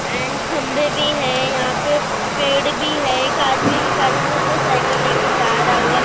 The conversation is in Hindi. एंड खंभे भी है यहां पे पेड़ भी है एक आदमी भिखारी जैसा साइकल ले के जा रहा हुआ है।